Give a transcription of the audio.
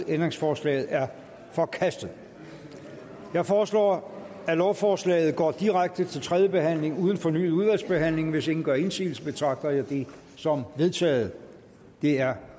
ændringsforslaget er forkastet jeg foreslår at lovforslaget går direkte til tredje behandling uden fornyet udvalgsbehandling hvis ingen gør indsigelse betragter jeg det som vedtaget det er